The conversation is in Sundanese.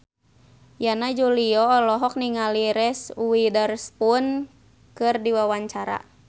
Yana Julio olohok ningali Reese Witherspoon keur diwawancara